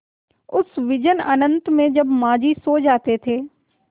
उस विजन अनंत में जब माँझी सो जाते थे